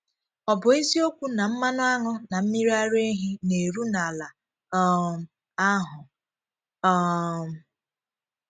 Ọ̀ bụ eziokwu na mmanụ aṅụ na mmiri ara ehi “ na - eru ” n’ala um ahụ? um